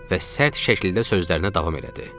Və sərt şəkildə sözlərinə davam elədi.